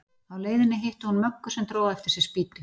Á leiðinni hitti hún Möggu sem dró á eftir sér spýtu.